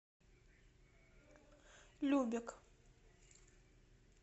любек